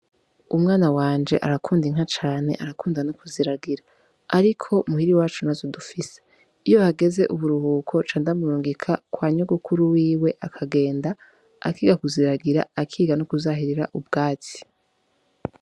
Umwana wanje arakunda inka cane, arakunda no kuziragira, ariko muhira iwacu ntazo dufise, iyo hageze uburuhuko ncandamurungika kwa nyogokuru wiwe akagenda akiga kuziragira, akiga no kuzahirira ubwatsi.